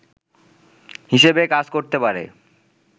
হিসেবে কাজ করতে পারে